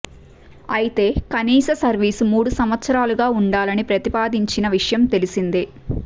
అయితే కనీస సర్వీసు మూడు సంవత్సరాలుగా ఉండాలని ప్రతిపాదించిన విషయం తెలిసిందే